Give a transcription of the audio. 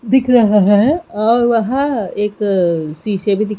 दिख रहा हैं और वहां एक शीशे भी दिख--